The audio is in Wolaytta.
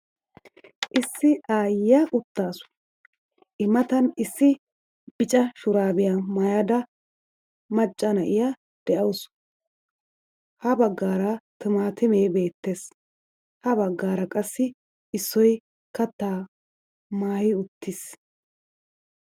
Issi ayiya uttaasu, I matan issi bicca shuraabiya maayada macca na'iya de'awusu. Ha bagaara timaatimee beettees. Ha baggaara qassi issoy kattaa maayi uttiis.